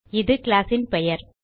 இது கிளாஸ் ன் பெயர்